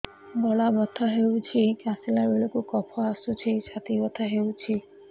ଗଳା ବଥା ହେଊଛି କାଶିଲା ବେଳକୁ କଫ ଆସୁଛି ଛାତି ବଥା ହେଉଛି